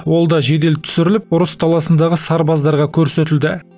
ол да жедел түсіріліп ұрыс даласындағы сарбаздарға көрсетілді